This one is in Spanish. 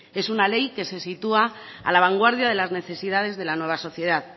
es una ley que se sitúa a la vanguardia de las necesidades de la nueva sociedad